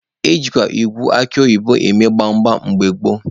Ejikwa ịgụ akụ oyibo eme gbam gbam mgbe gboo.